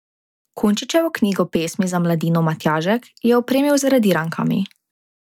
Kunčičevo knjigo pesmi za mladino Matjažek je opremil z radirankami.